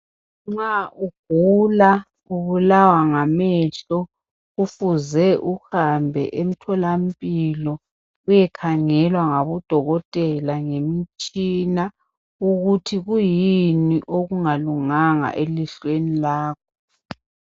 Nxa ugula ubulawa ngamehlo kufuze uhambe emtholampilo uyekhangelwa ngabodokotela ngemitshina ukuthi kuyini okungalunganga elihlweni lakho.